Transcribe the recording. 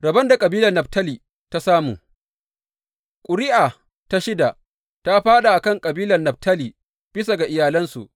Rabon da kabilar Naftali ta samu Ƙuri’a ta shida ta fāɗa a kan kabilar Naftali, bisa ga iyalansu.